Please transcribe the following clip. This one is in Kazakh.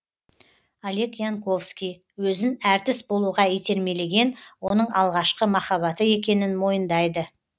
олег янковский өзін әртіс болуға итермелеген оның алғашқы махаббаты екенін мойындайды